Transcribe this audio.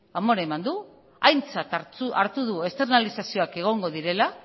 amore eman du aintzat hartu du externalizazioak egongo direla